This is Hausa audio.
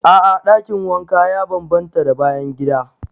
A'a dakin wanka ya bambanta da bayan gida.